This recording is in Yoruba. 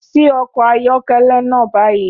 Ṣí ọkọ̀ ayọ́kẹ́lẹ́ náà báyìí!